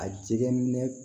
A jɛgɛ minɛ